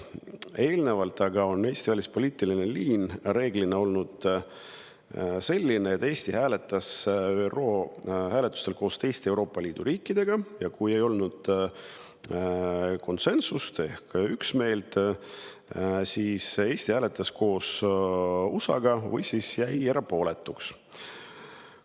Eelnevalt aga on Eesti välispoliitiline liin reeglina olnud selline, et Eesti hääletab ÜRO hääletustel nagu teised Euroopa Liidu riigid, ja kui ei ole konsensust ehk üksmeelt, siis hääletab Eesti nagu USA või jääb erapooletuks.